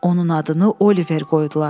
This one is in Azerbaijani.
Onun adını Oliver qoydular.